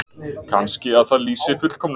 Kannski að það lýsi fullkomnun?